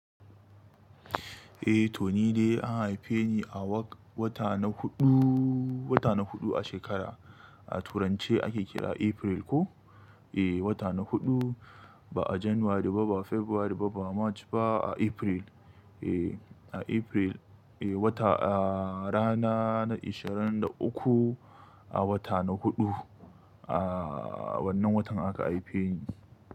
Eh to ni dai an haife ni a wata na huɗu, wata na huɗu a shekara. A turanche ake kira April ko? Eh wata na huɗu ba a January ba, ba February ba, ba March ba a April. Eh a April eh wata a rana na ishirin da uku a wata na huɗu. A wannan watan aka haife ni.